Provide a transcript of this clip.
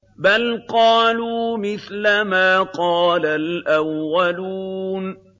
بَلْ قَالُوا مِثْلَ مَا قَالَ الْأَوَّلُونَ